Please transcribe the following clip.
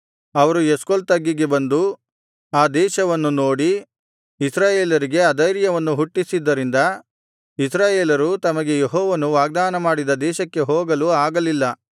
ಅವರು ಎಷ್ಕೋಲ್ ತಗ್ಗಿಗೆ ಬಂದು ಆ ದೇಶವನ್ನು ನೋಡಿ ಇಸ್ರಾಯೇಲರಿಗೆ ಅಧೈರ್ಯವನ್ನು ಹುಟ್ಟಿಸಿದ್ದರಿಂದ ಇಸ್ರಾಯೇಲರು ತಮಗೆ ಯೆಹೋವನು ವಾಗ್ದಾನಮಾಡಿದ ದೇಶಕ್ಕೆ ಹೋಗಲು ಆಗಲಿಲ್ಲ